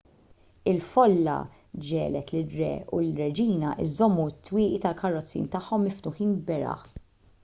il-folla ġiegħlet lir-re u lir-reġina jżommu t-twieqi tal-karozzin tagħhom miftuħin beraħ